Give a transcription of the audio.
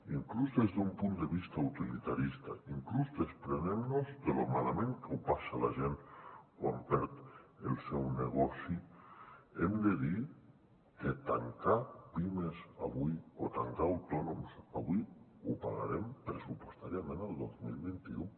inclús des d’un punt de vista utilitarista inclús desprenent nos de lo malament que ho passa la gent quan perd el seu negoci hem de dir que tancar pimes avui o tancar autònoms avui ho pagarem pressupostàriament el dos mil vint u